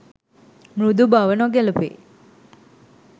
මෘදු බව නොගැලපේ